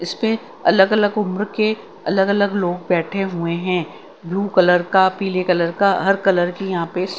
इसपे अलग अलग उम्र के अलग अलग लोग बैठे हुए हैं ब्लू कलर का पीले कलर का हर कलर की यहां पे--